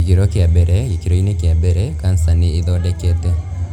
Gĩkĩro kĩa mbere :gĩkĩro-inĩ kĩa mbere, kanca nĩ ĩĩthondekete.